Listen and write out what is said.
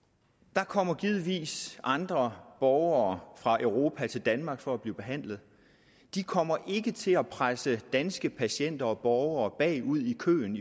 der kommer givetvis andre borgere fra europa til danmark for at blive behandlet de kommer ikke til at presse danske patienter og borgere bagud i køen